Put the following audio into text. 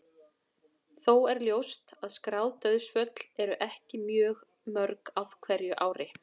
Þó er ljóst að skráð dauðsföll eru ekki mjög mörg á hverju ári.